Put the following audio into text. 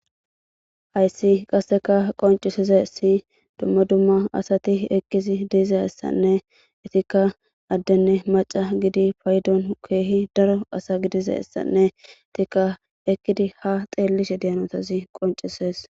issi booththa mayo may7da aakimey alga bolla hargidi ichida woykko zin7ida aawa oychashinne izi waani dizaan izappe qofa ekkashe dawus istafe qasse mille baggara pompay haththera des